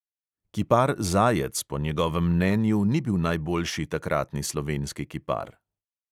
Kipar zajec po njegovem mnenju ni bil najboljši takratni slovenski kipar.